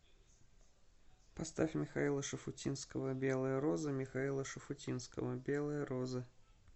поставь михаила шуфутинского белые розы михаила шафутинского белые розы